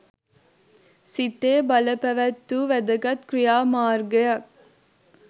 සිතේ බලපැවැත්වූ වැදගත් ක්‍රියාමාර්ගයක්